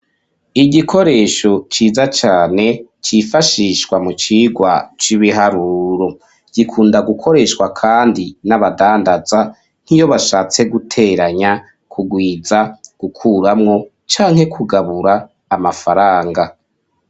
Igikoresho ciza cane, cifashishwa, mu cigwa c’ibiharuro; gikunda gukoreshwa kandi n’abadandaza, nk'iyo bashatse guteranya, kurwiza, gukuramwo, canke kugabura, amafaranga.